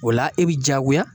O la e bi diyagoya